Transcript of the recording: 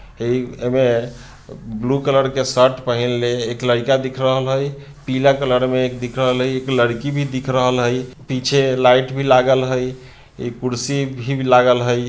ए-एमें blue colour के shirt पहिनले एक लड़का दिख रहल है पीला कलर में एक दिख रहल है एक लड़की भी दिख रहल है पीछे लाइट भी लागल है एक कुर्सी भी लागल है।